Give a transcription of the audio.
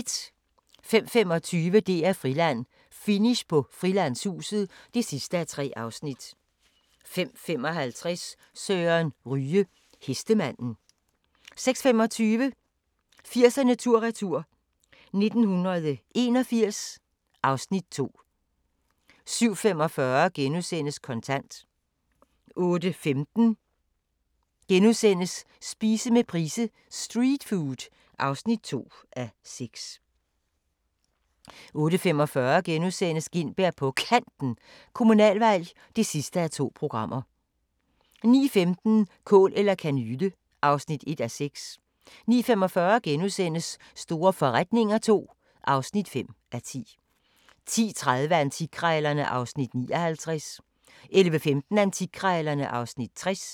05:25: DR-Friland: Finish på Frilandshuset (3:3) 05:55: Søren Ryge: Hestemanden 06:25: 80'erne tur-retur: 1981 (Afs. 2) 07:45: Kontant * 08:15: Spise med Price : "Streetfood" (2:6)* 08:45: Gintberg på Kanten – Kommunalvalg (2:2)* 09:15: Kål eller kanyle (1:6) 09:45: Store forretninger II (5:10)* 10:30: Antikkrejlerne (Afs. 59) 11:15: Antikkrejlerne (Afs. 60)